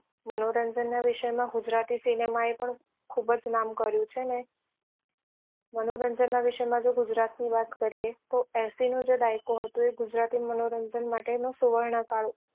મનોરંજન ના વિષય માં ગુજરાતી cinema એ પણ ખુબ જ નામ કર્યું છે ને મનોરંજન ના વિષય માં જો ગુજરાત ની વાત કરીએ તો એંસી નો જે દાયકો હતો એ ગુજરાતી મનોરંજન માટે નો સુવર્ણ કાળ